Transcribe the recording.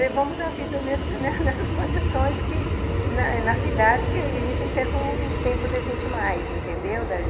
Levamos a vida nesse nessas condições que, na cidade, que a gente teve o tempo da gente mais, entendeu?